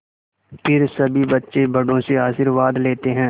फिर सभी बच्चे बड़ों से आशीर्वाद लेते हैं